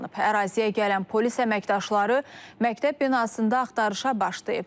Əraziyə gələn polis əməkdaşları məktəb binasında axtarışa başlayıb.